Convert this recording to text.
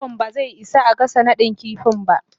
plawan ba zai isa a gasa nadin kifi ba.